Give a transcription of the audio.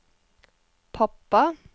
pappa